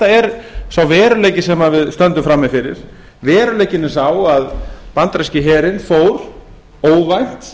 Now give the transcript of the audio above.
er sá veruleiki sem við stöndum frammi fyrir veruleikinn er sá að bandaríski herinn fór óvænt